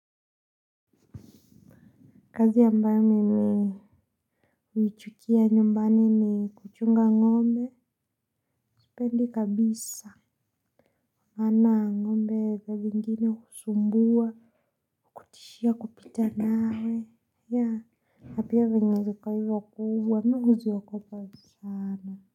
Kazi ambayo mimi uichukia nyumbani ni kuchunga ngombe sipendi kabisa maana ngombe zaa zingine husumbua tishia kupita nawe na pia venye ziko hivo kubwa mi huziogopa sana.